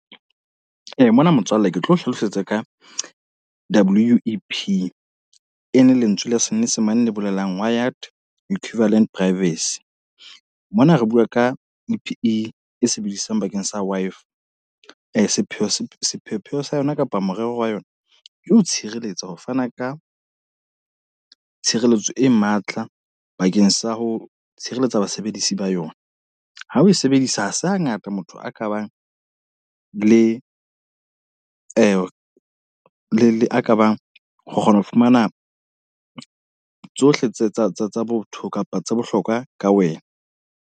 Mona motswalle ke tlo hlalosetsa ka W_E_P, e le lentswe la senyesemane le bolelang Wired Equivalent Privacy. Mona re bua ka E_P_E sebediswang bakeng sa Wi-Fi. Sepheo sa sepheo-pheo sa yona, kapa morero wa yona. Ke ho tshireletsa, ho fana ka tshireletso e matla bakeng sa ho tshireletsa basebedisi ba yona. Ha o e sebedisa, ha se hangata motho a ka bang le a kabang ho kgona ho fumana tsohle tsa botho kapa tse bohlokwa ka wena.